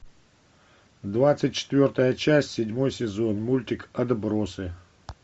двадцать четвертая часть седьмой сезон мультик отбросы